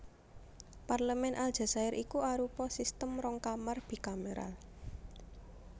Parlemèn Aljazair iku arupa sistem rong kamar bikameral